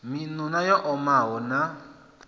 miṋu na yo omaho na